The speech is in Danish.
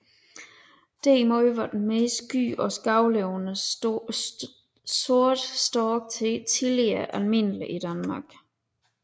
Derimod var den mere sky og skovlevende sorte stork tidligere almindelig i Danmark